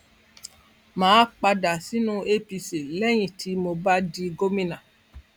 mà á padà sínú apc lẹyìn tí mo bá di gómìnà